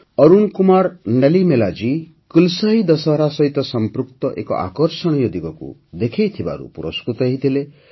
ଅରୁଣ କୁମାର ନଲିମେଲା ଜୀ କୁଲସାଇ ଦଶହରା ସହିତ ସଂପୃକ୍ତ ଏକ ଆକର୍ଷଣୀୟ ଦିଗକୁ ଦେଖାଇଥିବାରୁ ପୁରସ୍କୃତ ହୋଇଥିଲେ